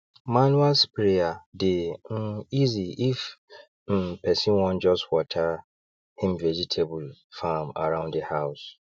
manual sprayer dey um easyif um person wan just water him vegetable farm around the house